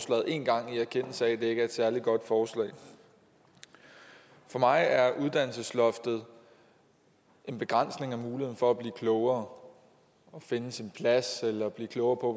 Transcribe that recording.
en gang i erkendelse af at det ikke er et særlig godt forslag for mig er uddannelsesloftet en begrænsning af muligheden for at blive klogere at finde sin plads eller blive klogere på